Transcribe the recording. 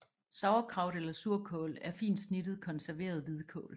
Sauerkraut eller surkål er fint snittet konserveret hvidkål